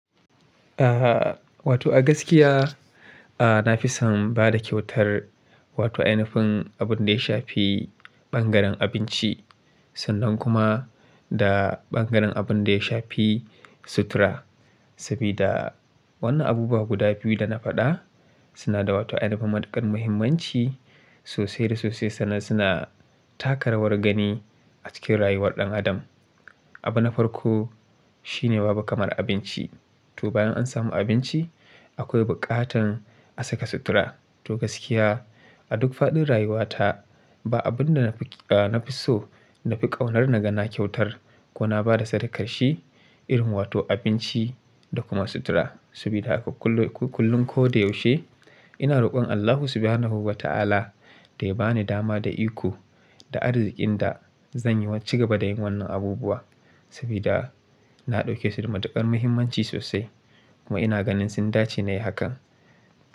Ah, wato a gaskiya, ah, na fi son ba da kyautar wato ai nufin abun da ya shafi bangaren abinci sannan kuma da bangaren abun da ya shafi sutura. Sabida wannan abubuwa guda biyu da na faɗa suna da wata ainafin matuƙar muhimmanci, sosai da sosai, sannan suna taka rawar gani, a cikin rayuwar ɗan adam. Abin na farko, shine babu kamar abinci. To bayan an samu abinci, akwai buƙatar a saka sutura. To gaskiyax a duk faɗin rayuwata, ba abun da na fi, ah, na fi so, na fi ƙaunar na ga na kyautar, ko na ba da sadakar shi, irin wato abinci, da kuma sutura. Sabida a kullum, kullum ko da yaushe ina roƙon Allahu subhanahu ba ta'ala, da ya bani dama da iko, da arziƙin da, zan yi wa cigaba da yin wannan abubuwa. Sabida na ɗauke su da matuƙar muhimmanci sosai kuma ina ganin sun dace nai hakan,